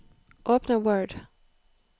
Åpne Word